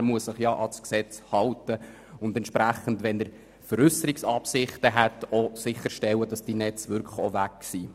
Letzterer muss sich an das Gesetz halten und bei Veräusserungsabsichten sicherstellen, dass diese Netze wirklich auch weg sind.